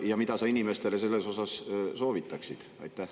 Ja mida sa inimestele seejuures soovitaksid?